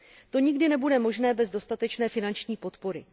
To nikdy nebude možné bez dostatečné finanční podpory.